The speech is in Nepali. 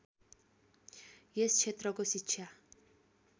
यस क्षेत्रको शिक्षा